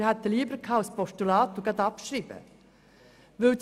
Wir hätten ein Postulat mit gleichzeitiger Abschreibung bevorzugt.